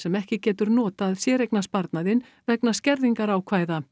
ekki getur notað séreignasparnaðinn vegna skerðingarákvæða